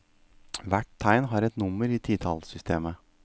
Hvert tegn har et nummer i titallsystemet.